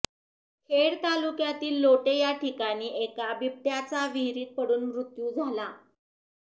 खेड तालुक्यातील लोटे या ठिकाणी एका बिबट्याचा विहीरीत पडून मृत्यू झाला